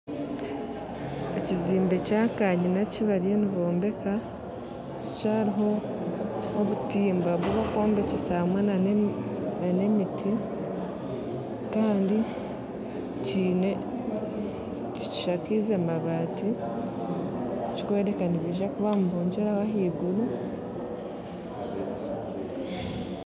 Ekizimbe kya kanyina eki bariyo nibombeka kikyariho obutimba bubakwombekyesa hamwe n'emiti kandi tikishakiize mabaati ekikwereka ngu nibaija kuba nibogyeraho ahaiguru